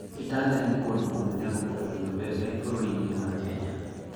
Kitale nĩ kũndũ kũnene gũkũragio mbembe bũrũri-inĩ wa Kenya.